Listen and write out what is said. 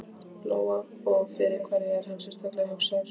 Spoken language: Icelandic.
Lóa: Og fyrir hverja er hann sérstaklega hugsaður?